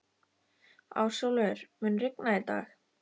Ásólfur, mun rigna í dag?